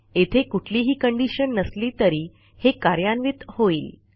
येथे कुठलीही कंडिशन नसली तरी हे कार्यान्वित होईल